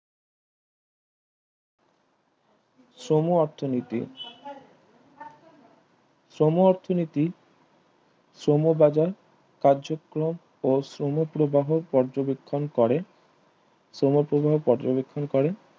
সমূহ অর্থনীতি সমূহ অর্থনীতি সমূহ বাজার কার্যক্রম ও শ্রম প্রবাহ পর্যবেক্ষণ করে শ্রম প্রবাহ পর্যবেক্ষণ করে